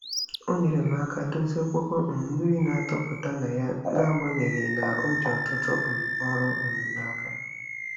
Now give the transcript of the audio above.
O nyere m aka dozie okpoko um mmiri na-atụpụta na ya n'agbanyeghị na o ji ọtụtụ um ọrụ um n'aka.